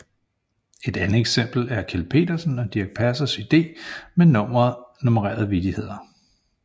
Et andet eksempel er Kjeld Petersen og Dirch Passers idé med nummererede vittigheder